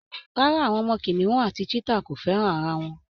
Rárá, àwọn ọmọ kìnìún àti cheetah kò fẹ́ràn ara wọn